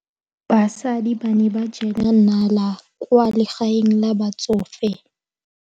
Basadi ba ne ba jela nala kwaa legaeng la batsofe.